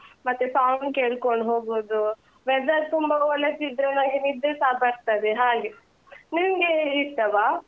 ಮತ್ತೆ song ಕೇಳ್ಕೊಂಡು ಹೋಗೋದು, weather ತುಂಬ ಒಳ್ಳೆಸ ಇದ್ರೆ ನಂಗೆ ನಿದ್ರೆಸ ಬರ್ತದೆ ಹಾಗೆ, ನಿಮ್ಗೆ ಇಷ್ಟವಾ?